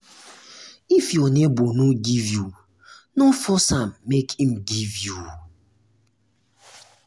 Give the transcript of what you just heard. if your neighbor no give you no force am make im give you